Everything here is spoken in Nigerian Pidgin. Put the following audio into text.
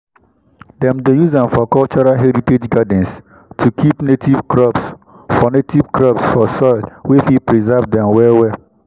dem dey use am for cultural heritage gardens to keep native crops for native crops for soil wey fit preserve dem well-well.